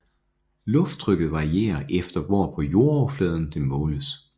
Lufttrykket varierer efter hvor på jordoverfladen det måles